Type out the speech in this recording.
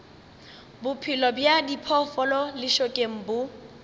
bophelo bja diphoofolo lešokeng bo